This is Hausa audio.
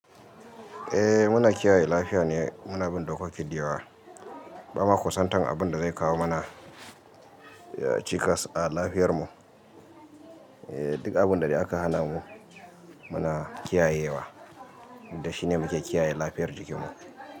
Eh muna kiyaye lafiya ne, muna bin dokoki diyawa, bama kusantan abin da zai kawo mana cikas a lafiyar mu. Duk abin da aka hana mu muna kiyayewa, da shine muke kiyaye lafiyar jikin mu.